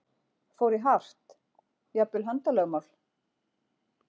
Fór í hart, jafnvel handalögmál?